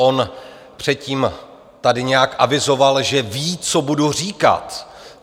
On předtím tady nějak avizoval, že ví, co budu říkat.